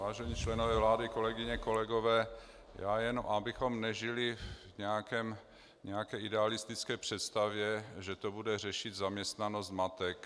Vážení členové vlády, kolegyně, kolegové, já jen abychom nežili v nějaké idealistické představě, že to bude řešit zaměstnanost matek.